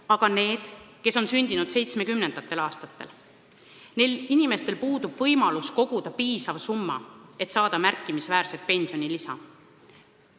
Aga nendel, kes on sündinud 1970. aastatel, puudub võimalus koguda piisav summa, et saada märkimisväärset pensionilisa.